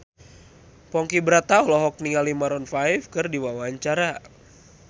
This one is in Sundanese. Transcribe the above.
Ponky Brata olohok ningali Maroon 5 keur diwawancara